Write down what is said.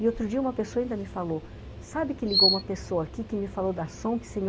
E outro dia uma pessoa ainda me falou, sabe que ligou uma pessoa aqui que me falou da Sonksen?